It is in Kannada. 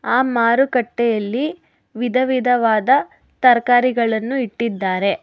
ಆ ಮಾರುಕಟ್ಟೆಯಲ್ಲಿ ವಿಧ ವಿಧವಾದ ತರಕಾರಿಗಳನ್ನು ಇಟ್ಟಿದ್ದಾರೆ.